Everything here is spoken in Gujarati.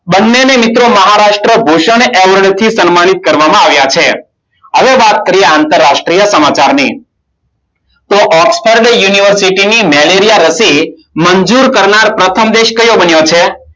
બંનેને મિત્રો મહારાષ્ટ્ર ભૂષણ એવોર્ડ થી સન્માનિત કરવામાં આવ્યા છે. હવે વાત કરીએ આંતરરાષ્ટ્રીય સમાચારની. તો ઓક્સફર્ડ યુનિવર્સિટીની મેલેરિયા રસી મંજૂર કરનાર પ્રથમ દેશ કયો બન્યો છે?